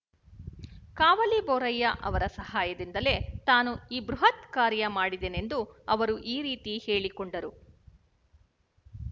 ಕಾವಲಿ ಬೊರಯ್ಯ ಅವರ ಸಹಾಯದಿಂದಲೇ ತಾನು ಈ ಬೃಹತ್ಕಾರ್ಯ ಮಾಡಿದೆನೆಂದು ಅವರು ಈ ರೀತಿ ಹೇಳಿಕೊಂಡರು